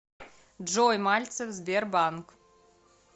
джой мальцев сбербанк